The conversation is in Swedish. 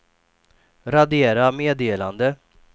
radera meddelande